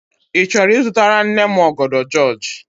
Ị chọrọ ịzụtara nne m ọgọdọ jịọjị?